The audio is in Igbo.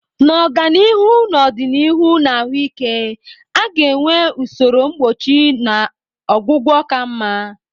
Na ọganihu n'ọdịnihu na ahụike, a ga-enwe usoro mgbochi na ọgwụgwọ ka mma.